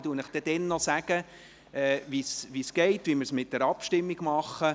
Ich werde Ihnen dann jeweils sagen, wie es abläuft, wie wir es mit der Abstimmung machen.